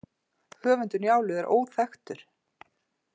Höfundur Njálu er óþekktur.